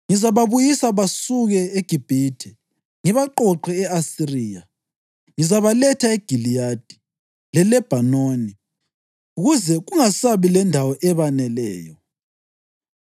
Ngizababuyisa basuke eGibhithe ngibaqoqe e-Asiriya. Ngizabaletha eGiliyadi leLebhanoni, kuze kungasabi lendawo ebaneleyo.